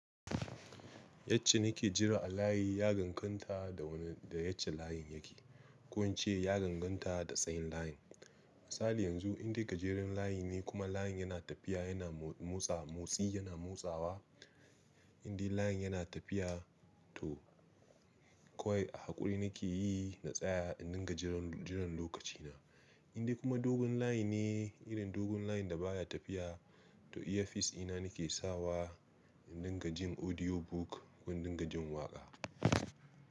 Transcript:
Yacce nake jira a layi ya danganta da wane da yacce layin yake. Ko in ce ya danganta da tsayin layin. Misali yanzu indai gajeren layi ne kuma layin yana tafiya yana motsa motsi yana motsawa, inda layin yana tafiya to kawai a haƙuri nake yi na tsaya inda gajeren jiran lokaci na. Inda kuma dogon layi ne irin dogon layin da baya tafiya to iyafis dina nake sawa in dinga jin audio book ko in dinga jin waƙa.